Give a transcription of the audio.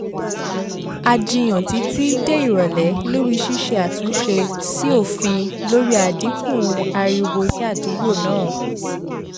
a jiyàn títí di ìrọ̀lẹ́ lórí ṣíṣe àtúnṣe sí òfin lórí àdínkù ariwo ni àdúgbò náà